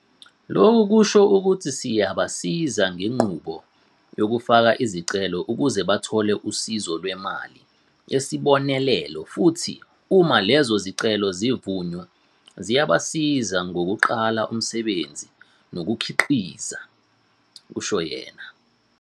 Lokhu kusho ukuthi siyabasiza ngenqubo yokufaka izicelo ukuze bathole usizo lwemali yesibonelelo futhi uma lezi zicelo zivunywa, siyabasiza ngokuqala umsebenzi nokukhiqiza," kusho yena.